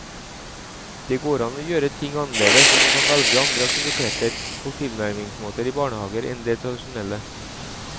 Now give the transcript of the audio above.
Det går an å gjøre ting annerledes og man kan velge andre aktiviteter og tilnærmingsmåter i barnehager enn det tradisjonelle.